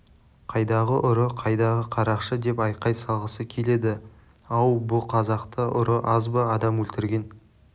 қайдағы ұры қайдағы қарақшы деп айқай салғысы келеді ау бұ қазақта ұры аз ба адам өлтірген